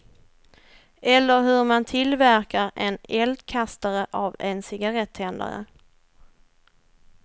Eller hur man tillverkar en eldkastare av en cigarrettändare.